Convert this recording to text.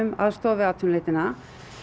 aðstoð við atvinnuleitina